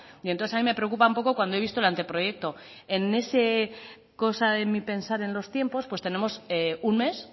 y entonces a mí preocupa un poco cuando he visto el anteproyecto en esa cosa de mí pensar en los tiempos pues tenemos un mes